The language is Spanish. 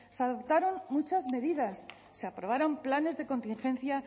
se adoptaron muchas medidas se aprobaron planes de contingencia